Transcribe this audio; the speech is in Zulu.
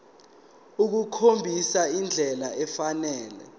ukukhombisa indlela efanele